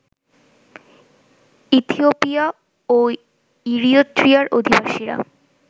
Ethiopia ও ইরিত্রিয়ার অধিবাসীরা